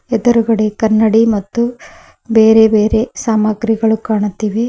ಎದುರುಗಡೆ ಕನ್ನಡಿ ಮತ್ತು ಬೇರೆ ಬೇರೆ ಸಾಮಗ್ರಿಗಳು ಕಾಣುತ್ತಿವೆ.